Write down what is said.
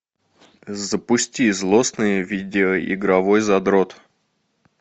запусти злостный видеоигровой задрот